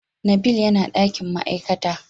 nabil yana dakin ma'aikata.